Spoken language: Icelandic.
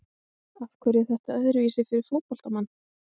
Af hverju er þetta öðruvísi fyrir fótboltamann?